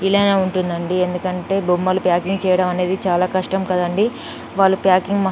ఇలానే ఉంటుందండి ఎందుకంటే బొమ్మలు ప్యాకింగ్ చేయడం అనేది చాలా కష్టం కదండీ వాళ్లు ప్యాకింగ్ --.